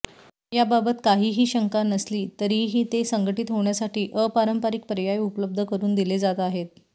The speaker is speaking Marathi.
याबाबत काहीही शंका नसली तरीही ते संघटित होण्यासाठी अपारंपारिक पर्याय उपलब्ध करून दिले जात आहेत